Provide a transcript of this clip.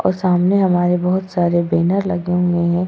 और सामने हमारे बहुत सारे बैनर लगे हुए हैं।